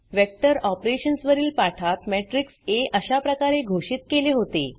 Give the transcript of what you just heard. vector operations वरील पाठात matrix आ अशाप्रकारे घोषित केले होते